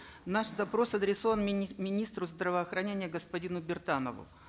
наш запрос адресован министру здравоохранения господину биртанову